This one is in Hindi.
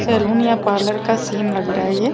सैलून या पार्लर का सीन लग रहा है ये |